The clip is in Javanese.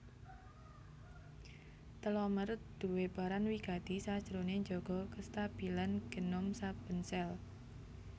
Telomer duwé peran wigati sajroné njaga kastabilan genom saben sel